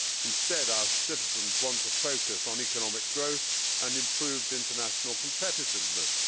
Instead, our citizens want to focus on economic growth and improved international competitiveness.